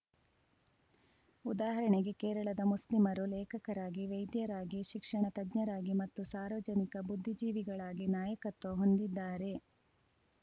ಉದಾಹರಣೆಗೆ ಕೇರಳದ ಮುಸ್ಲಿಮರು ಲೇಖಕರಾಗಿ ವೈದ್ಯರಾಗಿ ಶಿಕ್ಷಣ ತಜ್ಞರಾಗಿ ಮತ್ತು ಸಾರ್ವಜನಿಕ ಬುದ್ಧಿಜೀವಿಗಳಾಗಿ ನಾಯಕತ್ವ ಹೊಂದಿದ್ದಾರೆ